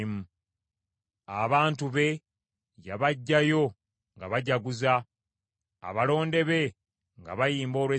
Abantu be yabaggyayo nga bajaguza, abalonde be nga bayimba olw’essanyu.